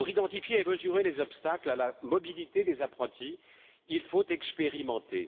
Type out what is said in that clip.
Pour identifier et mesurer les obstacles à la mobilité des apprentis, il faut expérimenter.